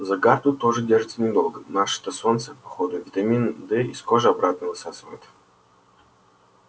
загар тут тоже держится недолго наше-то солнце по ходу витамин дэ из кожи обратно высасывает